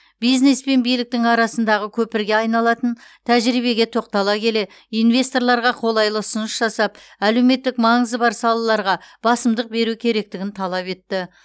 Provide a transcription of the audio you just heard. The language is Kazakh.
бизнес пен биліктің арасындағы көпірге айналатын тәжірибеге тоқтала келе инвесторларға қолайлы ұсыныс жасап әлеуметтік маңызы бар салаларға басымдық беру керектігін талап етті